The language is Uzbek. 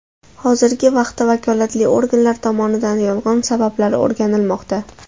Hozirgi vaqtda vakolatli organlar tomonidan yong‘in sabablari o‘rganilmoqda.